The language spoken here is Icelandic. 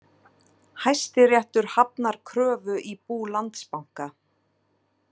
Hæstiréttur hafnar kröfu í bú Landsbanka